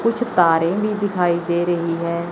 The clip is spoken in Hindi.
कुछ तारे भी दिखाई दे रही है।